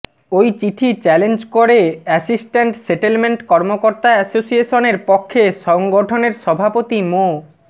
ওই চিঠি চ্যালেঞ্জ করে অ্যাসিস্ট্যান্ট সেটেলমেন্ট কর্মকর্তা অ্যাসোসিয়েশনের পক্ষে সংগঠনের সভাপতি মো